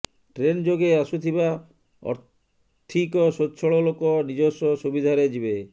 train ଯୋଗେ ଆସୁଥିବା ଅର୍ଥିକ ସ୍ୱଛଳ ଲୋକ ନିଜସ୍ୱ ସୁବିଧାରେ ଯିବେ